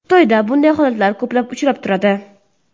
Xitoyda bunday holatlar ko‘plab uchrab turadi.